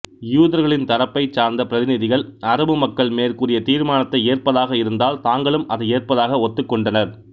யூதர்களின் தரப்பைச் சார்ந்த பிரதிநிதிகள் அரபு மக்கள் மேற்கூறிய தீர்மானத்தை ஏற்பதாக இருந்தால் தாங்களும் அதை ஏற்பதாக ஒத்துகொண்டனர்